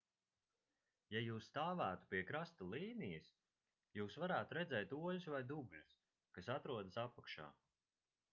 ja jūs stāvētu pie krasta līnijas jūs varētu redzēt oļus vai dubļus kas atrodas apakšā